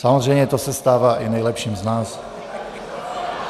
Samozřejmě to se stává i nejlepším z nás.